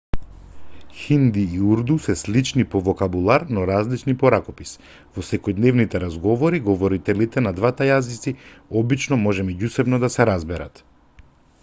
хинди и урду се слични по вокабулар но различни по ракопис во секојдневните разговори говорителите на двата јазици обично може меѓусебно да се разберат